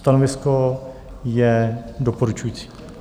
Stanovisko je doporučující.